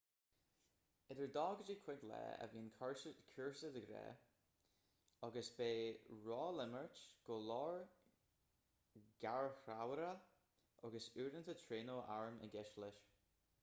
idir 2-5 lá a bhíonn cúrsa de ghnáth agus beidh rólimirt go leor garchabhrach agus uaireanta traenáil airm i gceist leis